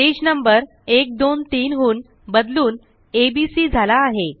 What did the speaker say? page number 1 2 3 हून बदलून आ बी सी झाला आहे